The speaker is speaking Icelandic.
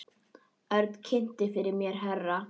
Örn kynnti fyrir mér herra